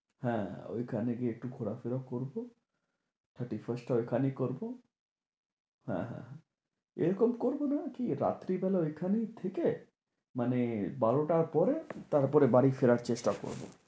হ্যাঁ ওইখানে গিয়ে একটু ঘোরা ফেরাও করবো, thirty-first ওই খানেই করবো। হ্যাঁ হ্যাঁ এরকম করবো না কি রাত্রিবেলা ঐখানেই থেকে, মানে বারোটার পরে তারপরে বাড়ি ফেরার চেষ্টা করবো।